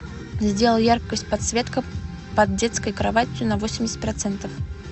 сделай яркость подсветка под детской кроватью на восемьдесят процентов